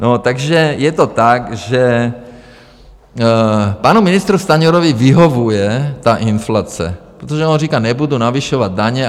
No, takže je to tak, že panu ministru Stanjurovi vyhovuje ta inflace, protože on říká: Nebudu navyšovat daně.